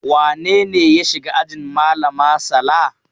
Wane ne ya shiga ajin malama Sala?